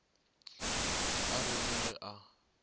a re le ge a